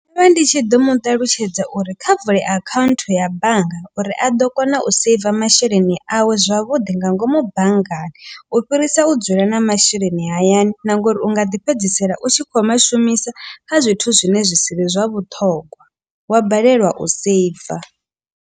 Ndo vha ndi tshi ḓo muṱalutshedza uri kha vule account ya bannga. Uri a ḓo kona u saver masheleni awe zwavhuḓi nga ngomu banngani. U fhirisa u dzula na masheleni hayani na nga uri u nga ḓi fhedzisela u tshi khou mashumisa kha zwithu zwine zwi si vhe zwa vhuṱhongwa wa balelwa u saver.